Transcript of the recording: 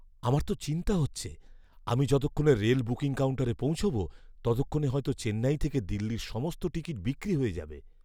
আমার তো চিন্তা হচ্ছে আমি যতক্ষণে রেল বুকিং কাউন্টারে পৌঁছব ততক্ষণে হয়তো চেন্নাই থেকে দিল্লির সমস্ত টিকিট বিক্রি হয়ে যাবে।